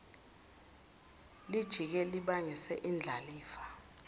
lijike libangise indlalifa